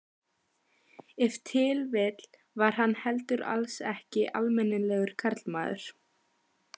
Ef til vill var hann heldur alls ekki almennilegur karlmaður.